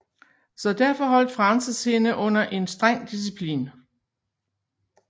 Så derfor holdt Frances hende under en streng disciplin